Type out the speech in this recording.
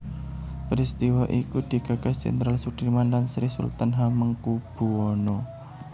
Peristiwa iku digagas Jenderal Soedirman lan Sri Sultan Hamengkubuwono